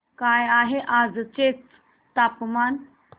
काय आहे आजर्याचे तापमान